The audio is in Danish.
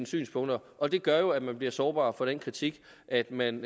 synspunkter og det gør jo at man bliver sårbar over for den kritik at man